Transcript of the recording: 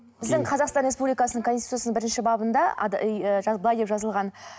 біздің қазақстан республикасының конституция бірінші бабында былай деп жазылған